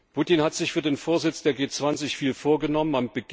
Putin hat sich für den Vorsitz der G 20 viel vorgenommen.